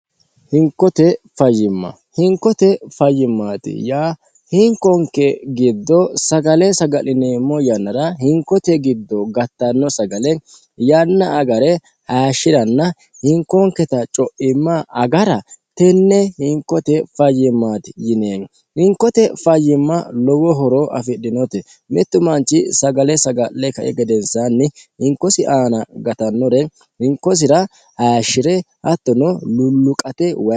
hinkote fayyimma hinkote fayyimmaati yaa hinkonke giddo sagale saga'lineemmo yannara hinkote giddo gattanno sagale yanna agare hayishshi'ranna hinkonketa co'imma agara tenne hinkote fayyimmaati yineemo hinkote fayyimma lowo horo afidhinote mittu manchi sagale saga'le kai gedensaanni hinkosi aana gatannore hinkosira hayishshi're hattono lulluqate wayinni